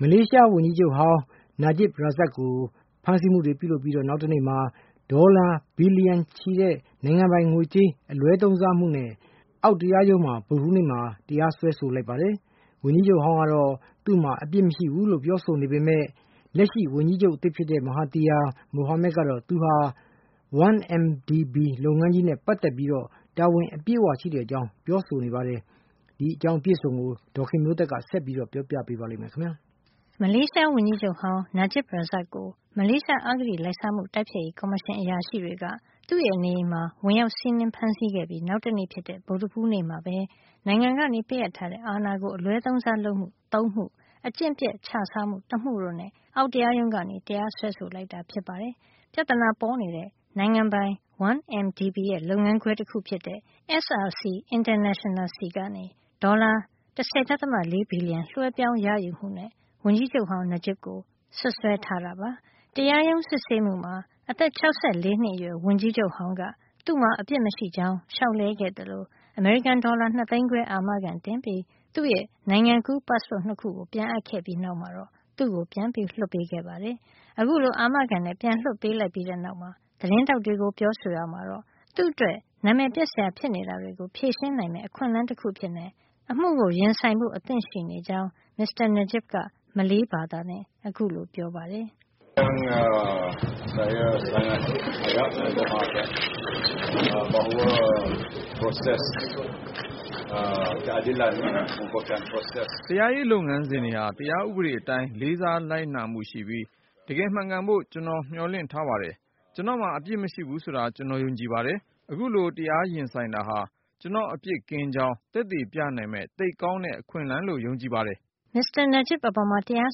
မလေးရှားဝန်ကြီးချုပ်ဟောင်း Najib Razak ကို မလေးရှား နိုင်ငံပိုင် 1MDB လုပ်ငန်းကြီးက ဒေါ်လာဘီလီယံနဲ့ချီ ငွေကြေးအလွဲသုံးစားမှုနဲ့ အောက်တရားရုံးက ဗုဒ္ဓဟူးနေ့မှာ တရားဝင် တရားစွဲဆိုလိုက်ပါတယ်။ ဝန်ကြီးချုပ်ဟောင်းကတော့ သူ့မှာ အပြစ်မရှိကြောင်း ပြောကြား ခဲ့ပေမယ့် လက်ရှိဝန်ကြီးချုပ်သစ် Mahathir Mohamad ကတော့ သူဟာ 1MDB လုပ်ငန်းကြီးနဲ့ ပတ်သက်ပြီး တာဝန်အပြည့်ရှိကြောင်း ပြောဆိုလိုက်ပါတယ်။ အပြည့်အစုံကို ဒေါ်ခင်မျိုးသက်က ပြောပြပေးမှာပါ။ မလေးရှားဝန်ကြီးချုပ်ဟောင်း Najib Razak ကို မလေးရှား အဂတိလိုက်စားမှု တိုက်ဖျက်ရေးကော်မရှင် အရာရှိတွေက သူ့ရဲ့ နေအိမ်မှာ ဝင်ရောက်စီးနင်း ဖမ်းဆီးခဲ့ပြီး နောက်တနေ့ဖြစ်တဲ့ ဗုဒ္ဓဟူးနေ့မှာပဲ နိုင်ငံကပေးအပ်ထားတဲ့ အာဏာကို အလွဲသုံးစား လုပ်မှု ၃ မှု၊ အကျင့်ပျက် ခြစားမှု ၁ မှု တို့နဲ့ အောက်တရားရုံးကနေ တရားစွဲဆိုလိုက်တာ ဖြစ်ပါတယ်။ ပြဿနာပေါ်နေတဲ့ နိုင်ငံပိုင် 1MDB ရဲ့ လုပ်ငန်းခွဲ တခုဖြစ်တဲ့ SRC International ဆီကနေ ဒေါ်လာ ၁၀.၄ ဘီလီယံ လွဲှပြောင်းရယူမှုနဲ့ ဝန်ကြီးချုပ်ဟောင်း Najib ကို စွပ်စွဲထားတာပါ။ တရားရုံး စစ်ဆေးမှုမှာ အသက် ၆၄ နှစ်အရွယ် ဝန်ကြီးချုပ်ဟောင်းက သူ့မှာအပြစ်မရှိကြောင်း လျှောက်လဲခဲ့သလို အမေရိကန်ဒေါ်လာ ၂ သိန်းခွဲ အာမခံ တင်ပြီး၊ သူ့ရဲ့ နိုင်ငံကူး ပတ်စ်ပို့ ၂ ခုကို ပြန်အပ်ခဲ့ပြီး နောက်မှာတော့ သူ့ကို ပြန်လွှတ်ပေးခဲ့ပါတယ်။ အခုလို အာမခံနဲ့ ပြန်လွှတ်ပေးလိုက်ပြီးနောက် သတင်းထောက်တွေကို ပြောဆိုရာမှာတော့ သူ့အတွက် နာမည်ပျက်စရာ ဖြစ်နေတာတွေကို ဖြေရှင်းနိုင်မယ့် အခွင့်အလန်းတခုအဖြစ်နဲ့ အမှုကို ရင်ဆိုင်ဖို့ အသင့်ရှိကြောင်း မစ္စတာ Najib က မလေးဘာသာနဲ့ ခုလိုပြောပါတယ်။ “တရားရေး လုပ်ငန်းစဉ်တွေဟာ တရားဥဒေအတိုင်း လေးစားလိုက်နာမှုရှိပြီး တကယ်မှန်ကန်ဖို့ ကျွန်တော်မျှော်လင့်ထား ပါတယ်။ ကျွန်တော့်မှာ အပစ်မရှိဘူးဆိုတာ ကျွန်တော် ယုံကြည်ပါတယ်။ အခုလို တရားရင်ဆိုင်တာဟာ ကျွန်တော့် အပြစ်ကင်းကြောင်း သက်သေပြနိုင်မယ့် သိပ်ကောင်းတဲ့ အခွင့်အလန်းလို့ ယုံကြည်ပါတယ်။” မစ္စတာ Najib အပေါ် တရား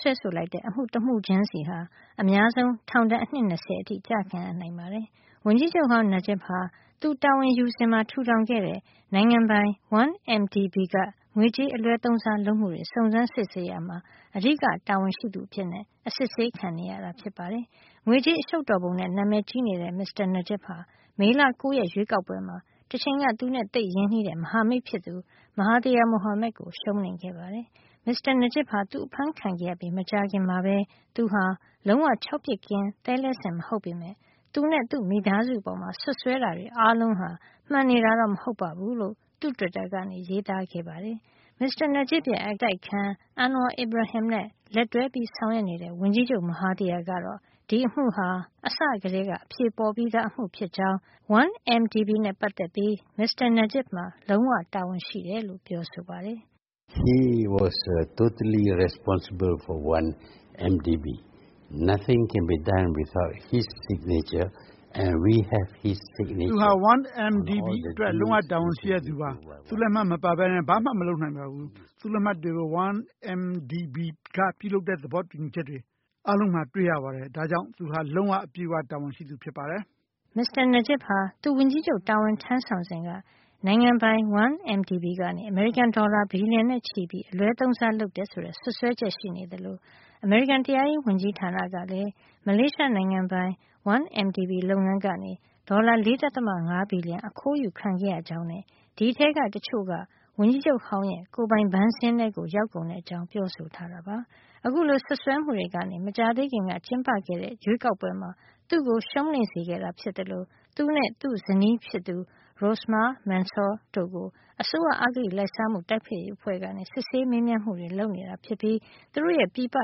စွဲဆိုလိုက်တဲ့ အမှုတမှုချင်းစီဟာ အများဆုံးထောင်ဒဏ် အနှစ် ၂၀ အထိ ကျခံရနိုင်ပါတယ်။ ဝန်ကြီးချုပ်ဟောင်း Najib ဟာ သူတာဝန်ယူစဉ်မှာ ထူထောင်ခဲ့တဲ့ နိုင်ငံပိုင် 1MDB က ငွေကြေး အလွဲသုံးစားမှုတွေကို စုံစမ်းစစ်ဆေးရာမှာ အဓိကတာဝန်ရှိသူ တဦးအဖြစ် စစ်ဆေးခံနေရတာ ဖြစ်ပါတယ်။ ငွေကြေး အရှုပ်တော်ပုံနဲ့ နံမယ်ကြီးနေတဲ့ မစ္စတာ Najib ဟာ မေလ ၉ ရက် ရွေးကောက်ပွဲမှာ တချိန်က သူနဲ့သိပ်ရင်းနှီးတဲ့ မဟာမိတ်ဖြစ်သူ Mahathir Mohamad ကိုရှုံးနိမ့်ခဲ့ပါတယ်။ မစ္စတာ Najib ဟာ သူအဖမ်းခံခဲ့ရပြီး မကြာခင်မှာပဲ သူဟာ လုံးဝခြောက်ပစ်ကင်းသဲလဲစင် မဟုတ်ပေမယ့် သူနဲ့ သူ့မိသားစုအပေါ် စွပ်စွဲတာတွေ အားလုံးဟာ မှန်နေတာတော့ မဟုတ်ဘူးလို့ သူ့တွစ်တာကနေ ရေးခဲ့ပါတယ်။ မစ္စတာ Najib ရဲ့ အတိုက်အခံ Anwar Ibrahim နဲ့ လက်တွဲဆောင်ရွက်နေတဲ့ ဝန်ကြီးချုပ် Mahathir ကတော့ ဒီအမှုဟာ အစကတည်းက အဖြေပေါ်ပြီးသား အမှု ဖြစ်ကြောင်းနဲ့ 1MDB နဲ့ ပတ်သက်ပြီး မစ္စတာ Najib မှာ လုံးဝ တာဝန်ရှိတယ်လို့ ပြောပါတယ်။ “သူဟာ 1MDB အတွက် လုံးဝ တာဝန်ရှိတဲ့ သူပါ။ သူ့လက်မှတ်မပါပဲနဲ့ ဘာမှ မလုပ်နိုင်ပါဘူး။ သူ့လက်မှတ်တွေကို 1MDB က ပြုလုပ်တဲ့ သဘောတူညီချက်တွေ အားလုံးမှာ တွေ့ရပါတယ်။ ဒါကြောင့် သူ့မှာ တာဝန် အပြည့်ရှိပါတယ်။” မစ္စတာ Najib ဟာ သူဝန်ကြီးချုပ် တာဝန်ထမ်းဆောင်စဉ်က နိုင်ငံပိုင် 1MDB ကနေ အမေရိကန် ဒေါ်လာဘီလျံနဲ့ချီပြီး အလွဲသုံးစား လုပ်ခဲ့တယ်ဆိုတဲ့ စွပ်စွဲချက်တွေရှိနေသလို အမေရိကန် တရားရေး ဝန်ကြီးဌာနကလည်း မလေးရှားနိုင်ငံပိုင် 1MDB လုပ်ငန်းကနေ ဒေါ်လာ ၄.၅ ဘီလီယံ ခိုးယူခံခဲ့ရကြောင်းနဲ့ ဒီအထဲက တချို့ကတော့ ဝန်ကြီးချုပ်ဟောင်းရဲ့ ကိုယ်ပိုင်ဘဏ်စာရင်းထဲကို ရောက်ကုန်တဲ့အကြောင်း ပြောဆိုထားပါတယ်။ အခုလို စွပ်စွဲမှုတွေက မကြာသေးခင်က ကျင်းပခဲ့တဲ့ ရွေးကောက်ပွဲမှာ သူ့ကို ရှုံးနိမ့်စေခဲ့တာ ဖြစ်သလို သူနဲ့ သူ့ဇနီးဖြစ်သူ Rosmah Mansor တို့ကို အစိုးရ အဂတိလိုက်စားမှု တိုက်ဖျက်ရေး အဖွဲ့က စစ်ဆေးမေးမြန်းမှုတွေ လုပ်နေတာ ဖြစ်ပြီး သူတို့ရဲ့ ပြည်ပ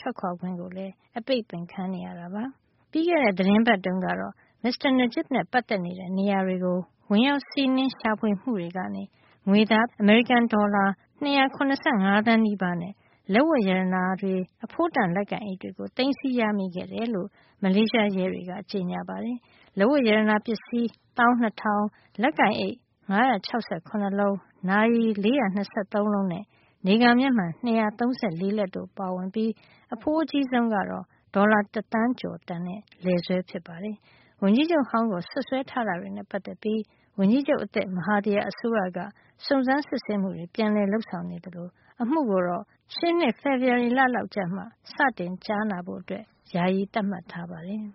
ထွက်ခွါခွင့်လည်း အပိတ်ပင် ခံနေရတာပါ။ ပြီးခဲ့တဲ့ သီတင်းပတ်တုန်းကတော့ မစ္စတာ Najib နဲ့ ပတ်သက်နေတဲ့ နေရာတွေကို ဝင်ရောက် စီးနင်းမှုတွေကနေ ငွေသား အမေရိကန် ဒေါ်လာ ၂၇၅ သန်းနီးပါးနဲ့ လက်ဝတ်ရတနာတွေ အဖိုးတန်လက်ကိုင်အိတ်တွေကို သိမ်းဆည်းရမိခဲ့တယ်လို့ မလေးရှားရဲတွေက ကြေညာပါတယ်။ လက်ဝတ်ရတနာ ပစ္စည်း ၁၂ ၀၀၀၊ လက်ကိုင်အိတ် ၅၆၇ လုံး၊ နာရီ ၄၂၃ လုံးနဲ့ နေကာမျက်မှန် ၂၃၄ လက်တို့ ပါဝင်ပြီး အဖိုးအကြီးဆုံးကတော့ ဒေါ်လာ တသန်းကျော် တန်တဲ့ လည်ဆွဲဖြစ်ပါတယ်။ ဝန်ကြီးချုပ်ဟောင်းကို စွပ်စွဲထားတာတွေနဲ့ ပတ်သက်ပြီး ဝန်ကြီးချုပ်အသစ် Mahthir အစိုးရက စုံစမ်းစစ်ဆေးမှုတွေ ပြန်လည် လုပ်ဆောင်နေ သလို အမှုကိုတော့ ရှေ့နှစ် ဖေဖော်ဝါရီလ လောက်ကျမှ စတင်ကြားနာဖို့ ယာယီသတ်မှတ်ထားပါတယ်။